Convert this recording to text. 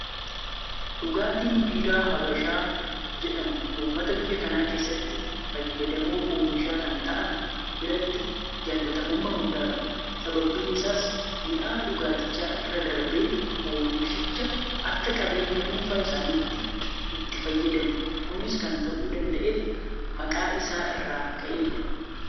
Dhugaatiin Biiraa Habashaa jedhamu uummata biyya kana keessatti fayyadamoo oomisha kanaa ta'an biratti jaalatamummaa guddaa qaba. Sababni isaas mi'aa dhugaatichaa irra darbee oomishicha akka qabeenya dhuunfaa isaaniitti itti fayyadamu. Kunis kan ta'uu danda'eef maqaa isaa irraa ka'eetudha.